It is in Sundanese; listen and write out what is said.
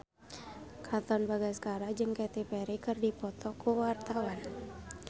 Katon Bagaskara jeung Katy Perry keur dipoto ku wartawan